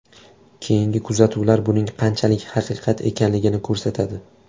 Keyingi kuzatuvlar buning qanchalik haqiqat ekanligini ko‘rsatadi.